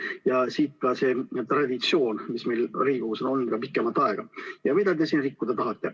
Ja siit ka see traditsioon, mis meil Riigikogus on olnud juba pikemat aega ja mida te siin rikkuda tahate.